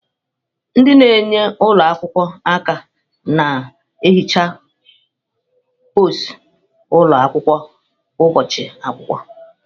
Ndị na-enyere ụlọ akwụkwọ aka na-ehicha mposi ụlọ akwụkwọ kwa ụbọchị akwụkwọ.